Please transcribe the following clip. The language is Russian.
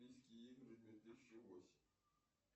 курс валюты центробанка